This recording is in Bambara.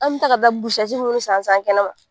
An me taa ka taa busɛti munnu san san kɛnɛma.